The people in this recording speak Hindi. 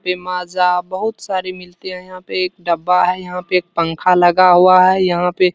ये माज़ा बहुत सारी मिलती है यहाँ पे | एक डब्बा है यहाँ पे | एक पंखा लगा हुआ है यहाँ पे।